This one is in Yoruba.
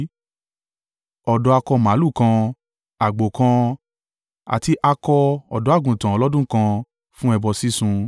ọ̀dọ́ akọ màlúù kan, àgbò kan, àti akọ ọ̀dọ́-àgùntàn ọlọ́dún kan, fún ẹbọ sísun;